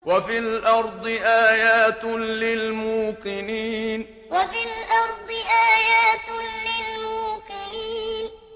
وَفِي الْأَرْضِ آيَاتٌ لِّلْمُوقِنِينَ وَفِي الْأَرْضِ آيَاتٌ لِّلْمُوقِنِينَ